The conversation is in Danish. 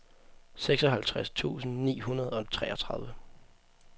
seksoghalvtreds tusind ni hundrede og treogtredive